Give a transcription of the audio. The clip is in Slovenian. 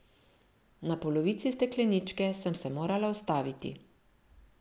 Na polovici stekleničke sem se morala ustaviti.